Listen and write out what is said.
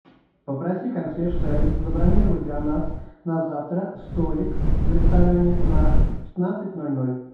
попроси консьерж сервис забронировать для нас на завтра столик в ресторане на пятнадцать ноль ноль